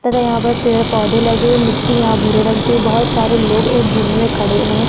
देखो यहाँ पर पेड़-पौधे लगे है मिट्ठी यहाँ पर भूरे रंग की है बहोत सड़े लोग एक झुंड में खड़े हुए है।